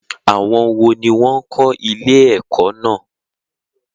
Àwọn wo ni wọn kò ilé ẹ̀kọ́ náà?